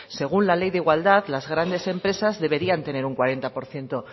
según la ley de igualdad las grandes empresas deberían tener un cuarenta por ciento